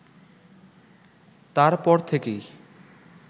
তার পর থেকেই